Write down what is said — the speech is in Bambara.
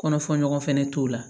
Kɔnɔfɔ ɲɔgɔn fɛnɛ t'o la